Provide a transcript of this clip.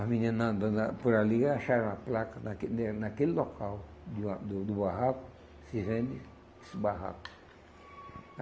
as menina andando lá por ali acharam a placa naque em naquele local de uma do do barraco, se vende esse barraco.